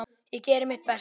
Ég geri mitt besta.